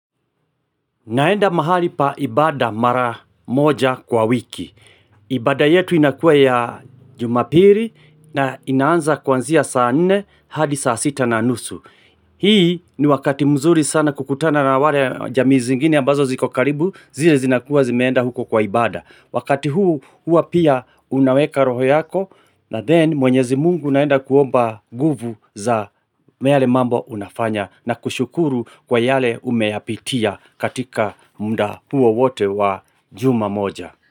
Naenda mahali pa ibada mara moja kwa wiki. Ibada yetu inakua ya jumapili na inaanza kuanzia saa nne hadi saa sita na nusu. Hii ni wakati mzuri sana kukutana na wale jamii zingine ambazo ziko karibu zile zinakuwa zimeenda huko kwa ibada. Wakati huu hua pia unaweka roho yako na ''then'' mwenyezi mungu unaenda kuomba nguvu za yale mambo unafanya na kushukuru kwa yale umeyapitia. Katika muda huo wote wa juma moja.